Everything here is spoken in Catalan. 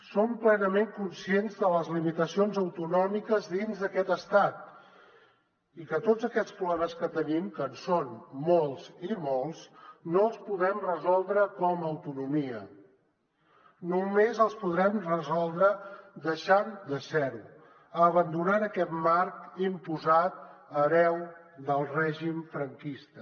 som plenament conscients de les limitacions autonòmiques dins d’aquest estat i que tots aquests problemes que tenim que en són molts i molts no els podem resoldre com a autonomia només els podrem resoldre deixant de ser ho abandonant aquest marc imposat hereu del règim franquista